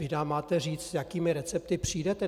Vy nám máte říct, s jakými recepty přijdete.